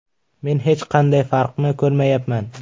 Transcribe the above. Men hech qanday farqni ko‘rmayapman.